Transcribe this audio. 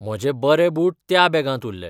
म्हजे बरे बूट त्या बॅगांत उरले.